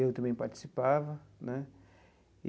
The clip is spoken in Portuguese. Eu também participava né.